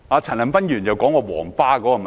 陳恒鑌議員提到"皇巴"的問題。